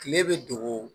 Kile bɛ dogo